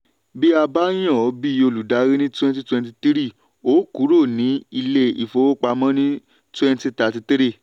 bí a yàn ọ́ bí olùdarí ní twenty twenty three o kúrò ní ilé ìfowópamọ́ ní twenty thirty three.